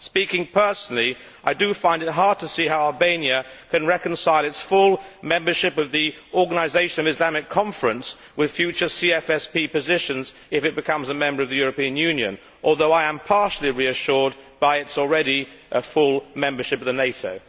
Speaking personally, I do find it hard to see how Albania can reconcile its full membership of the Organisation of the Islamic conference with future CFSP positions if it becomes a member of the European Union, although I am partially reassured by the fact that it is already a full member of NATO.